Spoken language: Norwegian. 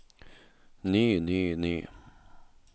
ny ny ny